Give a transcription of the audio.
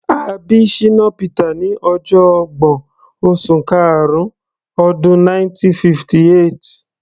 A bí Shina Peters ní ọjọ ọgbọ̀n, oṣù karun, ọdún 1958.